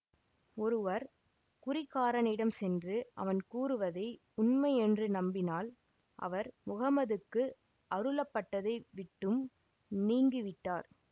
ஒருவர் குறிகாரனிடம் சென்று அவன் கூறுவதை உண்மை என்று நம்பினால் அவர் முஹம்மதுக்கு அருளப்பட்டதை விட்டும் நீங்கிவிட்டார்